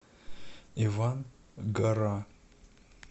иван гора